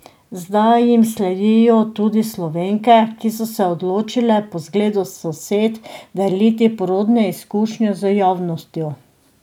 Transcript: Zdaj jim sledijo tudi Slovenke, ki so se odločile po zgledu sosed deliti porodne izkušnje z javnostjo.